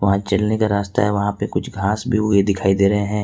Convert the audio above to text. वहां चलने का रास्ता है वहां पे कुछ घांस भी उगे दिखाई दे रहे हैं।